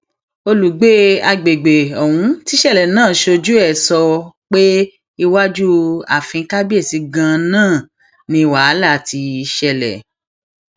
olùgbé àgbègbè ọhún tíṣẹlẹ náà ṣojú ẹ sọ pé iwájú ààfin kábíyèsí ganan ni wàhálà ti ṣẹlẹ